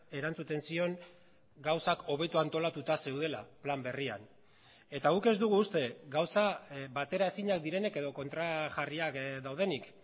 erantzuten zion gauzak hobeto antolatuta zeudela plan berrian eta guk ez dugu uste gauza bateraezinak direnik edo kontrajarriak daudenik